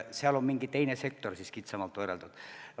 Seal on mingi teine sektor siis kitsamalt võrreldud.